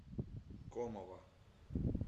комова